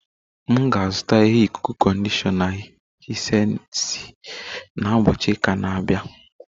M ga-azụta ihe ikuku-conditioner Hisensi na ubochi uka a na-abia